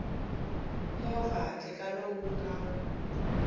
movha handle ka lowu nga